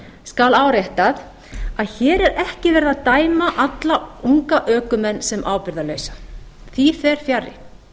skal áréttað að hér er ekki verið að dæma alla unga ökumenn sem ábyrgðarlausa því fer fjarri